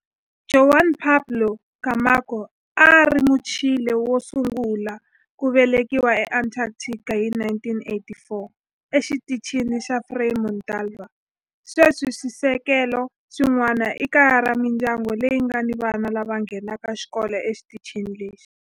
Juan Pablo Camacho a a ri Muchile wo sungula ku velekiwa eAntarctica hi 1984 eXitichini xa Frei Montalva. Sweswi swisekelo swin'wana i kaya ra mindyangu leyi nga ni vana lava nghenaka xikolo exitichini lexi.